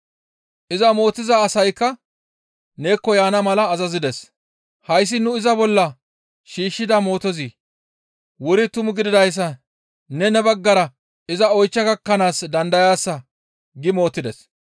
Iza mootiza asaykka neekko yaana mala azazides.] Hayssi nu iza bolla shiishshida mootozi wuri tumu gididayssa neni ne baggara iza oychcha gakkanaas dandayaasa» gi mootides.